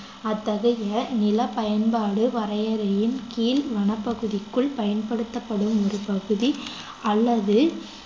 அத்தகைய நிலப் பயன்பாடு வரையறையின் கீழ் வனப்பகுதிக்குள் பயன்படுத்தப்படும் ஒரு பகுதி அல்லது